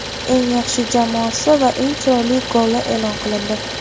eng yaxshi jamoasi va eng chiroyli goli e’lon qilindi;.